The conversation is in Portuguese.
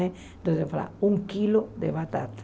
Então, ela falava, um quilo de batata.